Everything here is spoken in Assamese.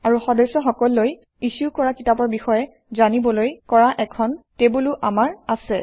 আৰু সদস্য সকললৈ ইছ্যু কৰা কিতাপৰ বিষয়ে জানিবলৈ কৰা এখন টেবুলো আমাৰ আছে